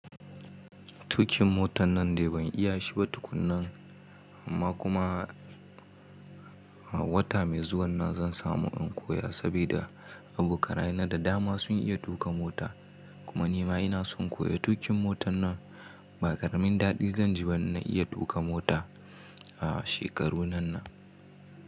Tukin motan nan dai ban iya shiba tukunnan. Amma kuma a wata mai zuwan nan zan samu in koya saboda abokanaye da dama sun iya tuƙa mota. Kuma nima inason in koyi tukin motan nan. Ba karamin daɗi zanji ba in na iya tuka mota a shekaru nan na.